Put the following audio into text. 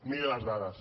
miri les dades